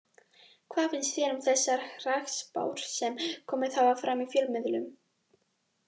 Hvað finnst þér um þessar hrakspár sem komið hafa fram í fjölmiðlum?